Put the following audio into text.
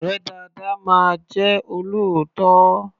Ọ̀rẹ́ dáadáa máa jẹ́ olóòótọ́.